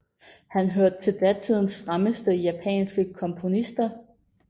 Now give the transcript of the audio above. Han hørte til datidens fremmeste japanske komponister